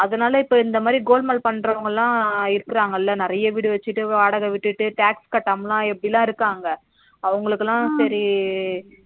அதனால இப்ப இந்தமாதிரி golmaal பண்றவங்களா இருக்குறாங்கல நிறைய வீடு வச்சிட்டு வாடக விட்டுட்டு tax கட்டாமல இப்பிடில இருக்காங்க அவங்களுக்குள சரி